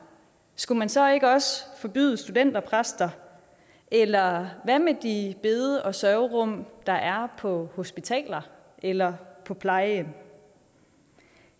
skulle man så ikke også forbyde studenterpræster eller hvad med de bede og sørgerum der er på hospitaler eller på plejehjem